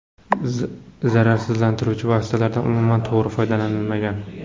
Zararsizlantiruvchi vositalardan umuman to‘g‘ri foydalanilmagan.